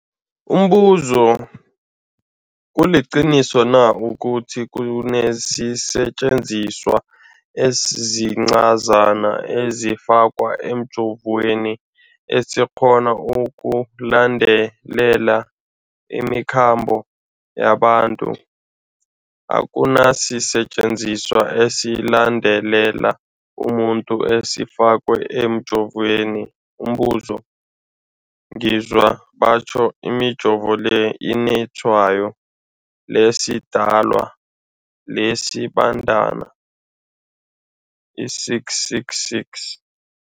Umbuzo, kuliqiniso na ukuthi kunesisetjenziswa esincazana esifakwa emijovweni, esikghona ukulandelela imikhambo yabantu? Akuna sisetjenziswa esilandelela umuntu esifakwe emijoveni. Umbuzo, ngizwa batjho imijovo le inetshayo lesiDalwa, lesiBandana i-666.